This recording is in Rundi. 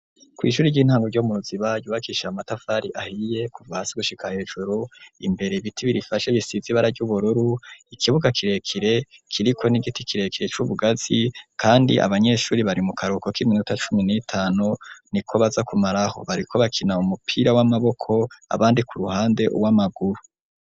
Kw'ishuri ry'intango ryo muruzi bayubakisha amatafari ahiye kuva si gushikaa hejuru imbere ibiti birifasha gisizi bara ry'ubururu ikibuga kirekere kiriko n'igiti kirekire c'ubugazi, kandi abanyeshuri bari mu karuko k'iminota cumi n'itano ni ko baza kumaraho bariko bakina mu mupira w'amaboko abandi ku ruhande uwo amagwe.